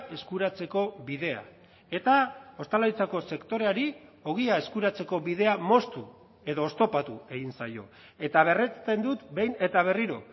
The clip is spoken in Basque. eskuratzeko bidea eta ostalaritzako sektoreari ogia eskuratzeko bidea moztu edo oztopatu egin zaio eta berresten dut behin eta berriro